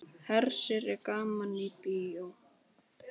Hersir er gaman í bíó?